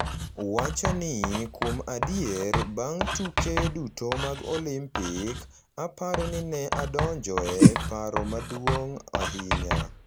wacho ni; Kuom adier, bang’ tuke duto mag Olimpik, aparo ni ne adonjo e paro maduong’ ahinya;